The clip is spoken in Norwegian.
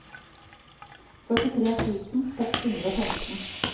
førtitre tusen seks hundre og femten